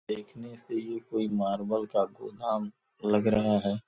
देखने से ये कोई मार्बल का गोदाम लग रहा है।